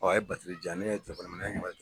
a ye di yan ne ye minɛ ne ɲɛ bɛ